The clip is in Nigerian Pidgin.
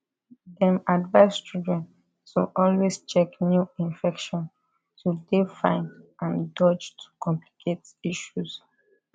dem advise children to always check new infection to dey fine and dodge to complicate issues